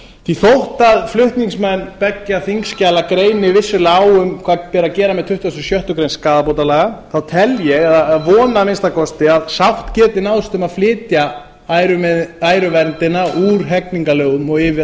því þótt flutningsmenn beggja þingskjala greini vissulega á um hvað beri að gera með tuttugasta og sjöttu greinar skaðabótalaga þá tel ég eða vona að minnsta kosti að sátt geti náðst um að flytja æruverndina úr hegningarlögunum og yfir